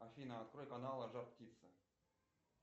афина открой каналы жар птица